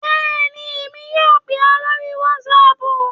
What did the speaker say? Bẹ́ẹ̀ni, èmi yóò pè ọ́ lórí whatsapp